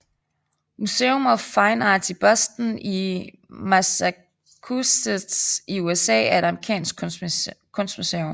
Museum of Fine Arts i Boston i Massachusetts i USA er et amerikansk kunstmuseum